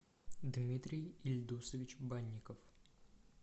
дмитрий ильдусович банников